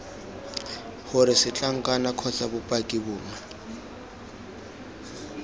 gore setlankana kgotsa bopaki bongwe